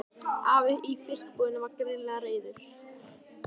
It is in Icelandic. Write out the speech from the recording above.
Afi í fiskbúðinni var greinilega reiður.